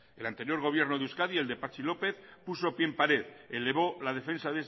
el anterior gobierno de euskadi el de patxi lópez puso pie en pared elevó la defensa